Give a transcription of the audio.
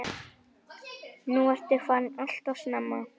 Nú ertu farin alltof snemma.